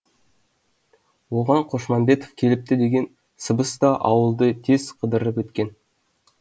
оған қошмамбетов келіпті деген сыбыс та ауылды тез қыдырып өткен